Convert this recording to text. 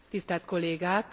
Tisztelt Kollégák!